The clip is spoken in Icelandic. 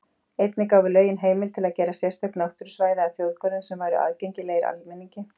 Einnig gáfu lögin heimild til að gera sérstök náttúrusvæði að þjóðgörðum sem væru aðgengilegir almenningi.